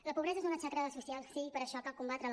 la pobresa és una xacra social sí per això cal combatre la